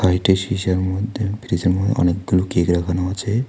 একটি সিসার মধ্যে ফ্রিজের মধ্যে অনেকগুলো কেক রাখানো আছে।